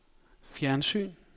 fjernsyn